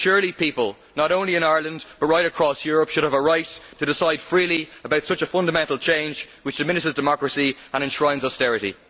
Surely people not only in Ireland, but right across Europe should have a right to decide freely about such a fundamental change which diminishes democracy and enshrines austerity?